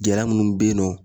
Gɛlɛya minnu be yen nɔ